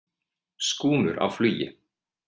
Skúmur á flugi.